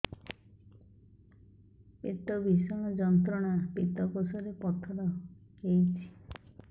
ପେଟ ଭୀଷଣ ଯନ୍ତ୍ରଣା ପିତକୋଷ ରେ ପଥର ହେଇଚି